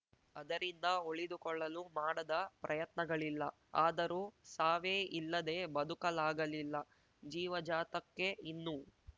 ಅದರಿಂದ ಉಳಿದುಕೊಳ್ಳಲು ಮಾಡದ ಪ್ರಯತ್ನಗಳಿಲ್ಲ ಆದರೂ ಸಾವೇ ಇಲ್ಲದೇ ಬದುಕಲಾಗಲಿಲ್ಲ ಜೀವಜಾತಕ್ಕೆ ಇನ್ನೂ